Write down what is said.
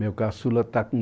Meu caçula está com